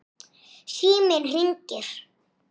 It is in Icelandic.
Mér er borgið.